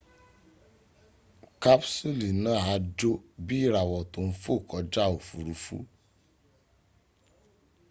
kapsuli naa a jo bii irawo to n fo koja ofurufu